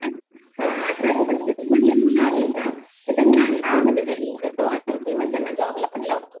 हं अठरा ते पस्तीस मधले मुलं आहेत ना तर त्यांना आम्ही फ्रीमध्ये ट्रेनिंग देतो आणि फ्रीमध्ये त्यांना जॉबला पण लावतो.